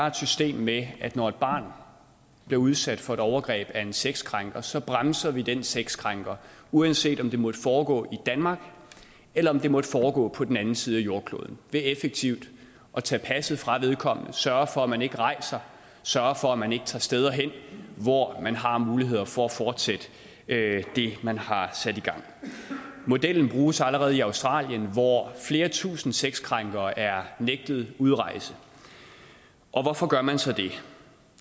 et system med at når et barn bliver udsat for et overgreb af en sexkrænker så bremser vi den sexkrænker uanset om det måtte foregå i danmark eller om det måtte foregå på den anden side af jordkloden ved effektivt at tage passet fra vedkommende sørge for at man ikke rejser sørge for at man ikke tager steder her hvor man har muligheder for at fortsætte det man har sat i gang modellen bruges allerede i australien hvor flere tusind sexkrænkere er nægtet udrejse og hvorfor gør man så det